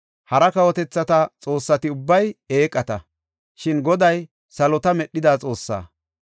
Hara kawotethata xoossati ubbay eeqata; shin Goday salota medhida Xoossaa.